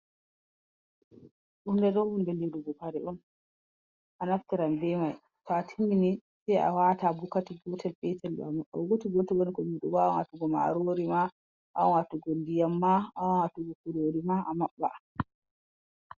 Hunde ɗo hunde lirugu karee on a naftiran be mai, to atimmini sai a wata ha bokati gotel petal ɗo amaɓɓa, gotel woni kombi ɗo bo a wawan watugo marori ma, awawan watugo ndiyam ma, awawan watugo kurorima ma amaɓɓa.